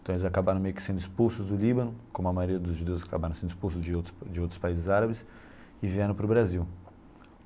Então eles acabaram meio que sendo expulsos do Líbano, como a maioria dos judeus acabaram sendo expulsos de outros de outros países árabes e vieram para o Brasil.